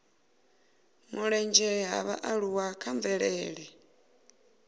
mulenzhe ha vhaaluwa kha mvelele